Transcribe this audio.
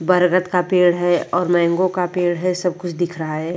बरगद का पेड़ है और मैंगो का पेड़ है सब कुछ दिख रहा है।